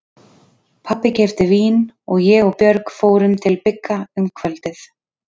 Pabbi keypti vín og ég og Björg fórum til Bigga um kvöldið.